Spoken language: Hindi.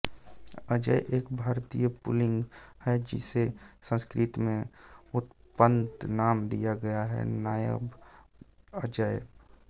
अजय एक भारतीय पुल्लिंग है जिसे संस्कृत में उत्पन्न नाम दिया गया है नायाब अजेय